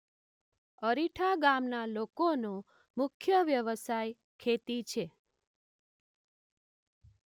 અરીઠા ગામના લોકોનો મુખ્ય વ્યવસાય ખેતી છે.